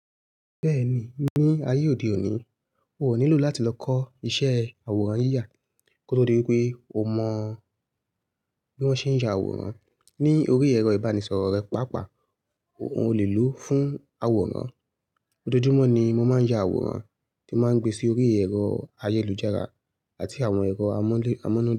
Bẹ́ẹ̀ ni, ní ayé òde òní, o ò nílò láti lọ kọ́ ìṣe àwòrán yíya kó tó dí wípé o mọ bí wón ṣe ń ya àwòrán. Ni orí ẹ̀rọ ìbánisọ̀rọ̀ rẹ, pàápàá o le lò ó fún àwòrán. Ojojumó ni mọ́ maa ya àwòrán tí màá ń gbe sí orí ẹ̀rọ ayélujára àti àwọn ẹ̀rọ amúnu.